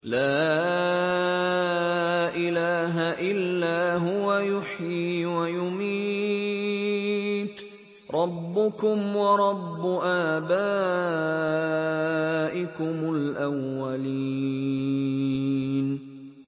لَا إِلَٰهَ إِلَّا هُوَ يُحْيِي وَيُمِيتُ ۖ رَبُّكُمْ وَرَبُّ آبَائِكُمُ الْأَوَّلِينَ